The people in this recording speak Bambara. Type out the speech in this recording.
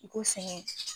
U ko sɛgɛn